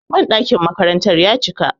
banɗakin makaranta ya cika